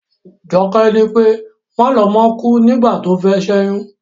Joké ní pé, Malomó kúú nígbà tófé s'éyún.